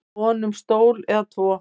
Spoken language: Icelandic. í von um stól eða tvo